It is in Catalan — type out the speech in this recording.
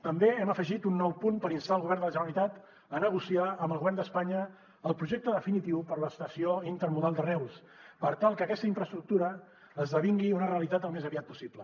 també hem afegit un nou punt per instar el govern de la generalitat a negociar amb el govern d’espanya el projecte definitiu per a l’estació intermodal de reus per tal que aquesta infraestructura esdevingui una realitat al més aviat possible